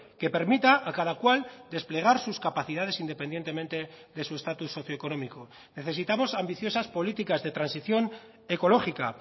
que permita a cada cual desplegar sus capacidades independientemente de su estatus socioeconómico necesitamos ambiciosas políticas de transición ecológica